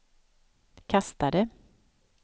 kastade